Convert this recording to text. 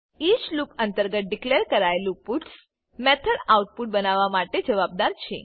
each loop અંતર્ગત declare કરાયેલું puts method output બનાવવા માટે જવાબદાર છે